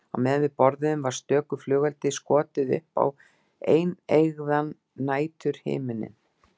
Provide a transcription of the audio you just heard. Á meðan við borðuðum var stöku flugeldi skotið upp á eineygðan næturhimininn.